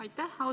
Aitäh!